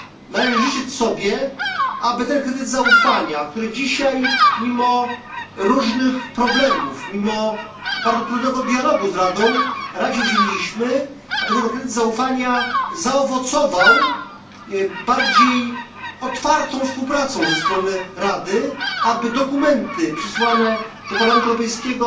Należy życzyć sobie, aby ten kredyt zaufania, którego dzisiaj mimo różnych problemów, mimo bardzo trudnego dialogu z Radą, udzieliliśmy Radzie, zaowocował bardziej otwartą współpracą ze strony Rady, aby dokumenty przysyłane do Parlamentu Europejskiego